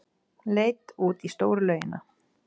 Leit út í stóru laugina.